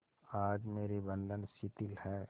आज मेरे बंधन शिथिल हैं